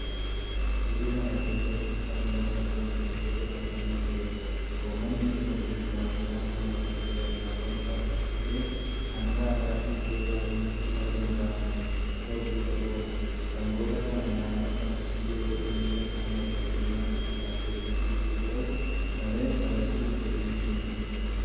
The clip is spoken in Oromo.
Biyya kana keessatti sangaan Lafa ittiin qotuudhaafis nifayyada. Uummanni keenya durii kaasee mala aadaatti fayyadamaa waanta dhufeef hanga har'aatti iddoo baay'eetti maluma kanatu hojii irra oola. Sangoota kana naannoo kanatti yeroo inni qonna dadhabe nyaachuudhaaf fedhii guutuu godhatu malee qalachuuf fedhiin hinjiru.